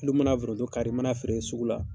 I dun mana foronto kari,i mana feere sugu la